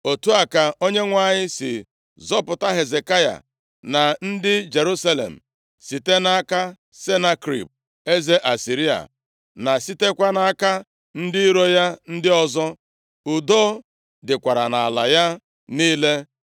Otu a ka Onyenwe anyị si zọpụta Hezekaya na ndị Jerusalem, site nʼaka Senakerib eze Asịrịa, na sitekwa nʼaka ndị iro ya ndị ọzọ. Udo dịkwara nʼala ya niile.